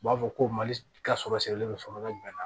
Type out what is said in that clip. U b'a fɔ ko mali ka sɔrɔ sirilen don sɔrɔ bɛ bɛnna